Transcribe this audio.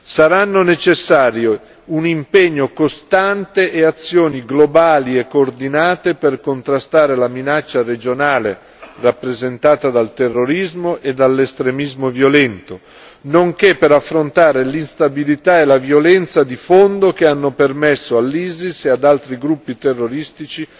Saranno necessari un impegno costante e azioni globale e coordinate per contrastare la minaccia regionale rappresentata dal terrorismo e dall'estremismo violento nonché per affrontare l'instabilità e la violenza di fondo che hanno permesso all'ISIS e ad altri gruppi terroristici